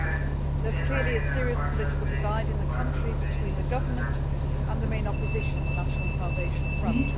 There is clearly a serious political divide in the country between the government and the main opposition the National Salvation Front.